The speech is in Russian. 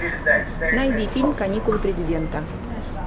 найди фильм каникулы президента